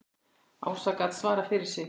Ása gat svarað fyrir sig.